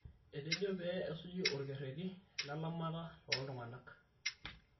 Etejo pee esuji olkereti lelamata tooltung'ana